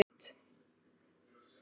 Galdurinn kostaði hins vegar sitt.